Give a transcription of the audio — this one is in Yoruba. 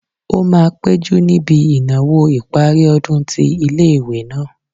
Ó máa péjú níbi ìnáwó ìparí ọdún tí ilé-ìwé náà